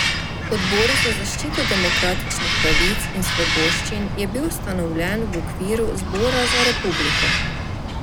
Odbor za zaščito demokratičnih pravic in svoboščin je bil ustanovljen v okviru Zbora za republiko.